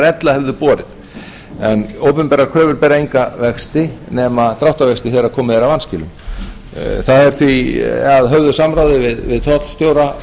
ella hefðu borið en opinberar kröfur bera enga vexti nema dráttarvexti þegar komið er að vanskilum það er því að höfðu samráði við tollstjóra